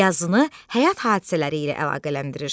Yazını həyat hadisələri ilə əlaqələndirir.